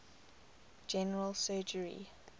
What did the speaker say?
general surgery